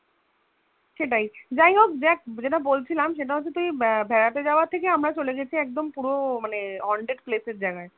সেটাই যাই হোক দেখ যেটা বলছিলাম সেটা হচ্ছে তুই আহ বেড়াতে যাওয়া থেকে আমরা চলে গেছি একদম পুরো মানে haunted place এর জায়গায়,